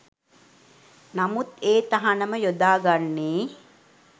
නමුත් ඒ තහනම යොදා ගන්නේ